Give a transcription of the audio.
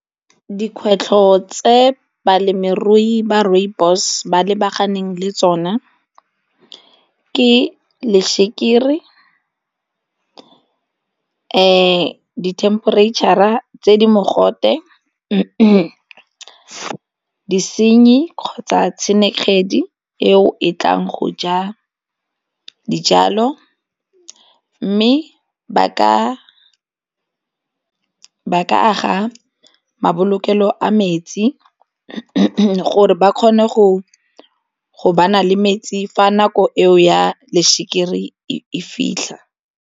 Dikgwetlho tse balemirui ba rooibos ba lebaganeng le tsona ke lešekere, temperature-ra tse di mogote mme disenyi kgotsa eo e tlang go ja dijalo mme ba ka aga mabolokelo a metsi gore ba kgone go na le metsi fa nako eo ya lešekere e fitlha.